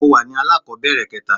mo wa ní alakobere kẹta